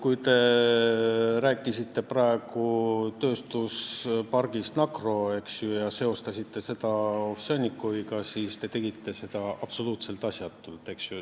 Kui te rääkisite praegu tööstuspargist Nakro ja seostasite seda Ovsjannikoviga, siis te tegite seda absoluutselt asjatult.